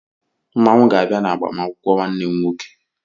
Mmanwụ ga-abịa n'agbamakwụkwọ nwanne m nwoke.